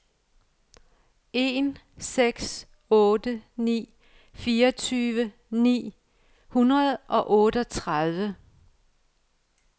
en seks otte ni fireogtyve ni hundrede og otteogtredive